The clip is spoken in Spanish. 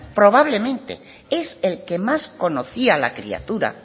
probablemente es el que más conocía a la criatura